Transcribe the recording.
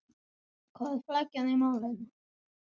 Hvar er flækjan í málinu?